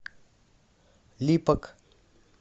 липок